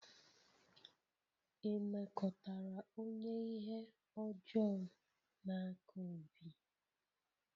Ị nakọtara onye ihe ọjọọ n'aka Obi?